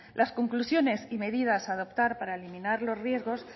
la conclusiones y medidas a adoptar para eliminar los riesgos